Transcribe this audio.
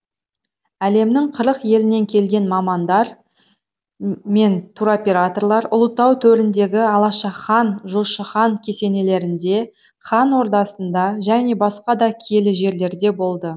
әлемнің қырық елінен келген мамандар мен туроператорлар ұлытау төріндегі алаша хан жошы хан кесенелерінде хан ордасында және басқа да киелі жерлерде болды